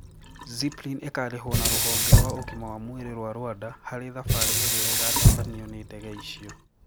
Zipline ikarĩhwo na rũhonge rwa ũgima wa mwĩrĩ rwa Rwanda harĩ thabarĩ irĩa igatabanio nĩ ndege icio